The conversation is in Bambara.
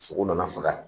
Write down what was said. Sogo nana faga